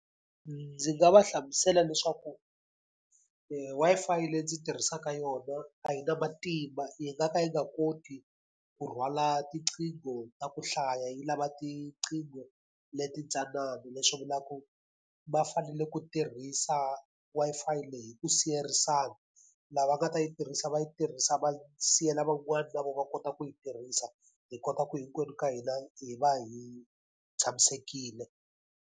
Ndzi nga va hlamusela leswaku Wi-Fi leyi ndzi tirhisaka yona a yi na matimba yi nga ka yi nga koti ku rhwala tiqingho ta ku hlaya yi lava tiqingho leti ntsanana. Leswi vulaku va fanele ku tirhisa Wi-Fi leyi hi ku siyerisana, lava nga ta yi tirhisa va yi tirhisa va siyela van'wani na vona va kota ku yi tirhisa. Hi kota ku hinkwenu ka hina hi va hi tshamisekile.